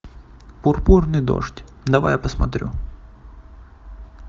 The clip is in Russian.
пурпурный дождь давай я посмотрю